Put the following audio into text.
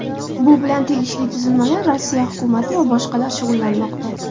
Bu bilan tegishli tuzilmalar Rossiya hukumati va boshqalar shug‘ullanmoqda.